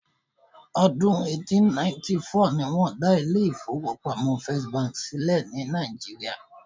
Ọdún eighteen ninety four ni wọ́n dá ilé ìfọwọ́pamo First bank sílẹ̀ ní Nàìjíría.